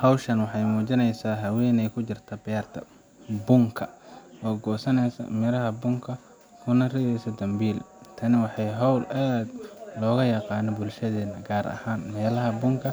Hawshan waxay muujinaysaa haweeney ku jirta beerta bunka oo goosanaysa miraha bunka kuna ridaysa dambiil. Tani waa hawl aad looga yaqaan bulshadeenna, gaar ahaan meelaha bunka